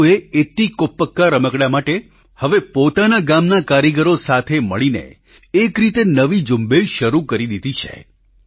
રાજૂએ એતીકોપ્પકા રમકડાં માટે હવે પોતાના ગામના કારીગરો સાથે મળીને એક રીતે નવી ઝૂંબેશ શરૂ કરી દીધી છે